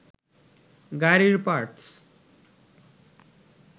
গাড়ির পার্টস